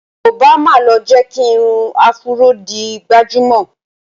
Obama ló jẹ́ kí irun áfúró di gbajúmọ̀